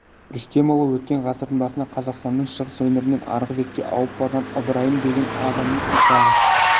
рүстемұлы өткен ғасырдың басында қазақстанның шығыс өңірінен арғы бетке ауып барған ыбырайым деген адамның ұрпағы